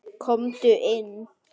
Komdu inn.